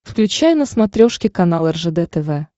включай на смотрешке канал ржд тв